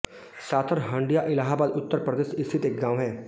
साथर हंडिया इलाहाबाद उत्तर प्रदेश स्थित एक गाँव है